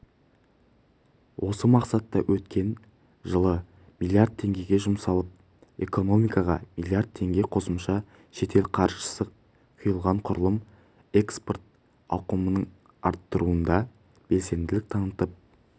осы мақсатқа өткен жылы млрд теңге жұмсалып экономикаға млрд теңге қосымша шетел қаржысы құйылған құрылым экпорт ауқымын арттыруда да белсенділік танытып